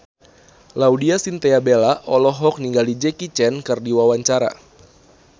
Laudya Chintya Bella olohok ningali Jackie Chan keur diwawancara